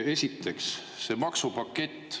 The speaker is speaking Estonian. Esiteks, see maksupakett.